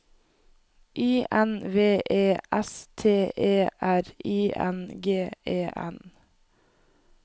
I N V E S T E R I N G E N